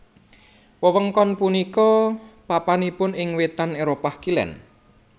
Wewengkon punika papanipun ing wètan Éropah Kilèn